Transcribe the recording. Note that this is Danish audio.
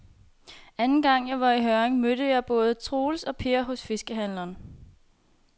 Anden gang jeg var i Hjørring, mødte jeg både Troels og Per hos fiskehandlerne.